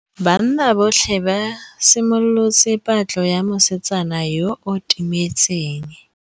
Banna botlhê ba simolotse patlô ya mosetsana yo o timetseng.